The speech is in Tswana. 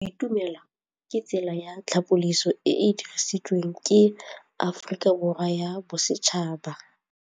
Go itumela ke tsela ya tlhapolisô e e dirisitsweng ke Aforika Borwa ya Bosetšhaba.